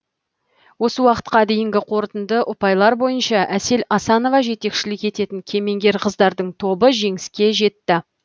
осы уақытқа дейінгі қорытынды ұпайлар бойынша әсел асанова жетекшілік ететін кемеңгер қыздардың тобы жеңіске жетті